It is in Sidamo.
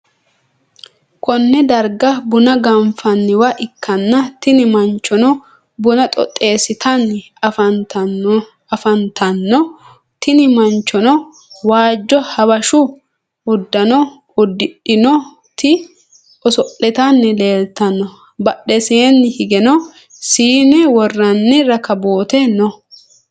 konne darga buna ganfanniwa ikkanna, tini manchono buna xoxxisitanni afantanno, tini ,manchono waajjo habashu uddano uddi'dhinoti oso'litanni leeltanno, badheseenni higeno siine worranni rakabboote no.